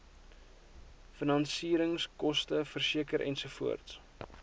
finansieringskoste versekering ensovoorts